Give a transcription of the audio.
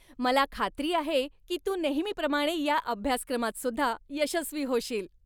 मला खात्री आहे की तू नेहमीप्रमाणे या अभ्यासक्रमातसुद्धा यशस्वी होशील.